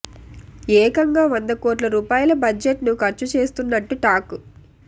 ఏకంగా వంద కోట్ల రూపాయల బడ్జెట్ ను ఖర్చు చేస్తున్నట్టు టాక్